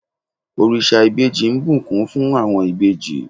orisa ìbejí ń bùkún fún àwọn ìbejì